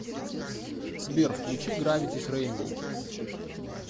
сбер включи гравитис рэйнбоу